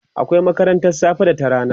akwai makarantan safe da ta rana